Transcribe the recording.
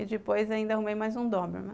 E depois, ainda arrumei mais um Doberman.